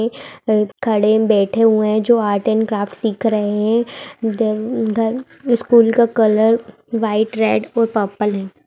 खड़े बैठे हुए है जो आर्ट एंड क्राफ्ट सिख रहे है स्कूल का कलर वाइट रेड और पर्पल है।